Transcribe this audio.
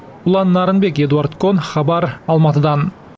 ұлан нарынбек эдуард кон хабар алматыдан